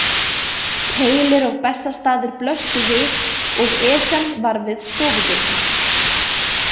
Keilir og Bessastaðir blöstu við og Esjan var við stofudyrnar.